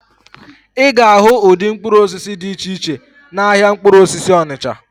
Ị ga-ahụ ụdị mkpụrụ osisi dị iche iche n'ahịa mkpụrụ osisi Onịcha.